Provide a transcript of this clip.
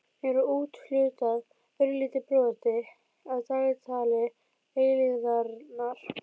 Mér var úthlutað örlitlu broti af dagatali eilífðarinnar.